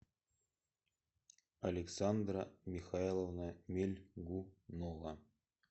александра михайловна мельгунова